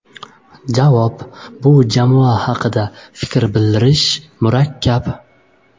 Javob: Bu jamoa haqida fikr bildirish juda murakkab.